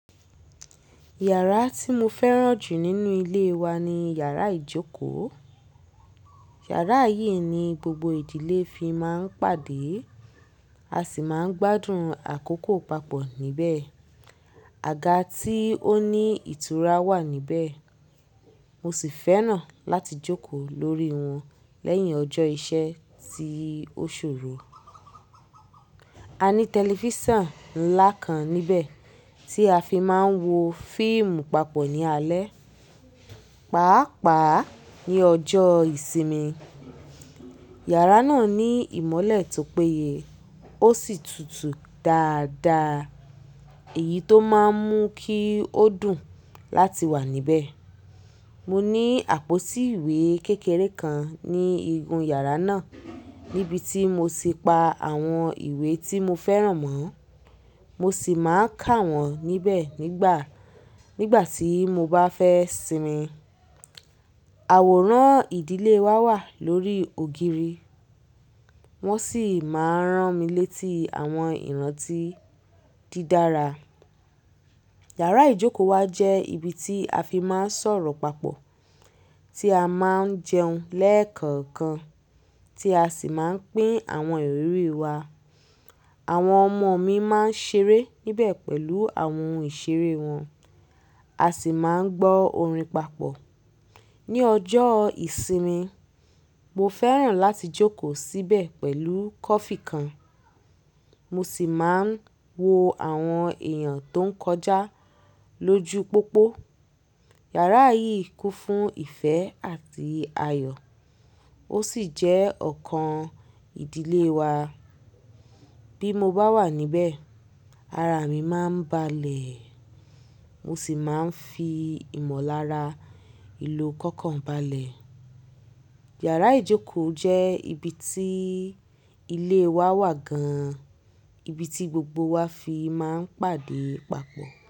Yàrá tí mo fẹ́ràn jù nínú ilé wa ni yàrá ìjókòó. Yàrá yìí ni gbogbo ìdílé fi máa ń pàdé. A sì máa ń gbádùn àkókò papọ̀ níbẹ̀. Àga tí ó ní ìtura wà níbẹ̀, mo sì fẹ́ràn láti jókòó lórí wọn lẹ́yìn ọjọ́ iṣẹ́ ti ó ṣòro. A ní tẹlifísàn ńlá kan níbẹ̀ tí a fi máa ń wo fíìmù papọ̀ ní alẹ́, pàápàá ní ọjọ́ ìsinmi. Yàrá náà ní ìmọ́lẹ̀ tó péye ó sì tutù dáadáa èyí tó máa ń mú kí ó dùn láti wà níbẹ̀. Mo ní àpótí ìwé kékeré kan ní igun yàrá náà níbi tí mo ti pa àwọn ìwé tí mo fẹràn mọ́. Mo sì máa ń kà wọ́n níbẹ̀ nígbà, nígbà tí mo bá fẹ́ sinmi. Àwòrán ìdílé wa wà lórí ògiri. Wọ́n sì máa ń rán mi létí àwọn ìrántí dídára. Yàrá ìjókòó wa jẹ́ ibi tí a fi máa ń sọ̀rọ̀ papọ̀, tí a máa ń jẹun lẹ́ẹ̀kọ̀ọ̀kan, tí a sì máa ń pín àwọn ìrírí wa. Àwọn ọmọ mi máa ń ṣeré níbẹ̀ pẹ̀lú àwọn ohun ìṣeré wọn. A sì máa ń gbọ́ orin papọ̀. Ni ọjọ́ ìsinmi, mo fẹ́ràn láti jókòó síbẹ̀ pẹ̀lú kọfí kan. Mo sì máa ń wo àwọn èèyàn tó ń kọjá lójú pópó. Yàrá yìí kún fún ìfẹ́ àti ayọ̀ ó sì jẹ́ ọ̀kan ìdílé wa. Bí mo bá wà níbẹ̀, ara mi máa ń balẹ̀. Mo sì máa ń fi ìmọ̀lára ìlú kọ̀ọ̀kan balẹ̀. Yàrá ìjókòó jẹ́ ibi tí ilé wa wà gan-an. Ibi tí gbogbo wa fi máa ń pàdé papọ̀